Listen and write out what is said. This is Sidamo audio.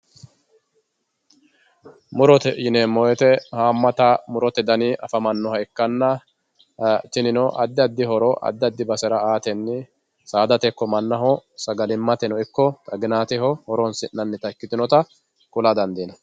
Muurotte yinemo woyitte haamatta muurotte danni afamanoha ikanna tinino adi adi hooro adi adi baasera aatenni saadatte iko maanaho saagallimate iko xaaginateho hooronsi'nayitta ikitinotta kulla daandinanni